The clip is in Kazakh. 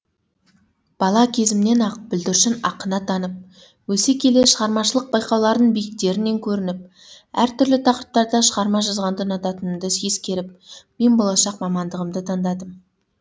бала кезімнен ақ бүлдіршін ақын атанып өсе келе шығармашылық байқаулардың биіктерінен көрініп әр түрлі тақырыптарда шығарма жазғанды ұнататынымды ескеріп мен болашақ мамандығымды таңдадым